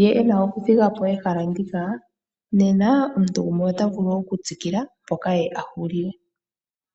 ye ena okuthi ga po ehala ndika, nena omuntu gumwe ota vulu wo okutsikila mpoka ye a hulila.